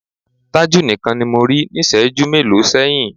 Tájù nìkan ni mo rí níṣẹ̀ẹ́jú mélòó sẹ́yìn.